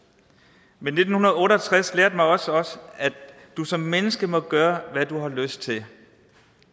men nitten otte og tres lærte mig også at du som menneske må gøre hvad du har lyst til